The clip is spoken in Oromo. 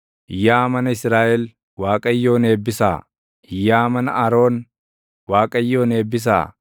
Yaa mana Israaʼel Waaqayyoon eebbisaa; yaa mana Aroon Waaqayyoon eebbisaa;